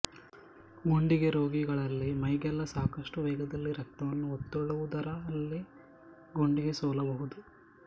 ಗುಂಡಿಗೆ ರೋಗಿಗಳಲ್ಲಿ ಮೈಗೆಲ್ಲ ಸಾಕಷ್ಟು ವೇಗದಲ್ಲಿ ರಕ್ತವನ್ನು ಒತ್ತಳ್ಳುವುದರಲ್ಲಿ ಗುಂಡಿಗೆ ಸೋಲಬಹುದು